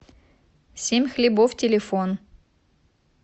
семь хлебов телефон